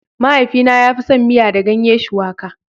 Mahaifina ya fi son miya da ganye shuwaƙa